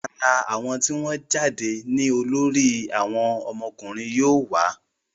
ara àwọn tí wọ́n jáde ní olórí àwọn ọkùnrin yóò wà